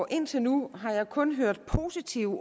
indtil nu kun har hørt positive